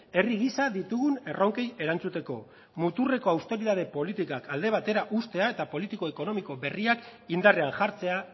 herri gisa ditugun erronkei erantzuteko muturreko austeritate politikak alde batera uztea eta politiko ekonomiko berriak indarrean jartzea